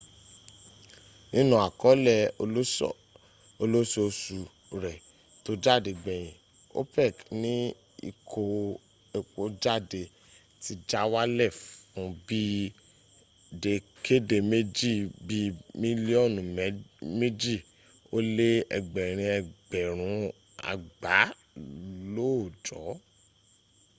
nínú àkọọ́lẹ̀ olóosòṣù rẹ tó jáde gbèyìǹ opec ní ìkó epo jáde ti já wálẹ̀ fún bí i dẹ́kéèdèméjì bíi mílíọ̀nù mẹ́jì ó lé ẹgbẹ̀rin ẹgbẹ̀rún àgbá lóòjọ́